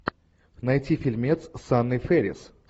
найти фильмец с анной фэрис